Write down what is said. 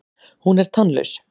Hún er tannlaus.